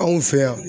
Anw fɛ yan